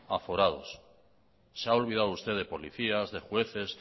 aforados se ha olvidado usted de policías de jueces